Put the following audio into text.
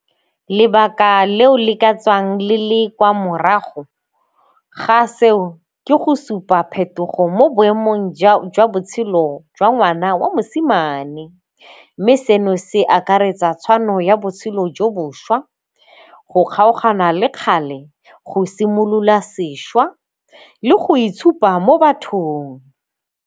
Lebaka leo le ka tswang le le kwa morago ga seo ke go supa phetogo mo boemong jwa botshelo jwa ngwana wa mosimane mme seno se akaretsa tshwano ya botshelo jo boswa, go kgaogana le kgale, go simolola sešwa le go itshupa mo bathong.